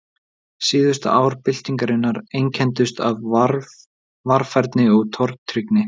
Síðustu ár byltingarinnar einkenndust af varfærni og tortryggni.